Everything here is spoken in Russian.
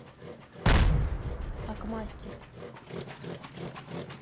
акмастер